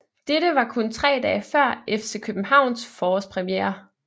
Dette var kun tre dage før FC Københavns forårspremiere